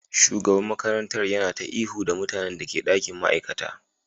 Shugaban makarantar yana ta ihu da mutanen da ke dakin ma'aikata